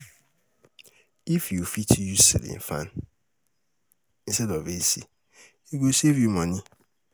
If you fit, use ceiling fan instead of AC, e go save you money.